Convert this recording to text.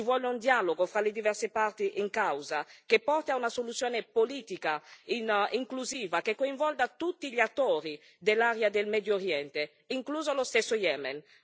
Ci vuole un dialogo fra le diverse parti in causa, che porti a una soluzione politica inclusiva, che coinvolga tutti gli attori dell'area del Medio Oriente, incluso lo stesso Yemen.